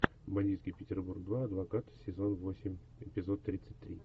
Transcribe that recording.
бандитский петербург два адвокат сезон восемь эпизод тридцать три